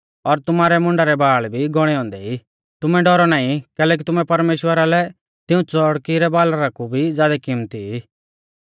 और तुमारै मुंडा रै बाल़ भी गौणै औन्दै ई तुमै डौरौ नाईं कैलैकि तुमै परमेश्‍वरा लै तिऊं च़ौड़की रै बालरा कु भी ज़ादै किमत्ती ई